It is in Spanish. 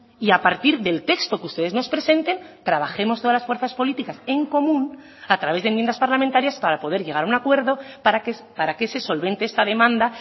y a partir del texto que ustedes nos presenten trabajemos todas las fuerzas políticas en común a través de enmiendas parlamentarias para poder llegar a un acuerdo para que se solvente esta demanda